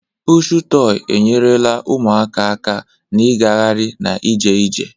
Pụshụ tọị enyerela ụmụaka aka na igahari na ije ije.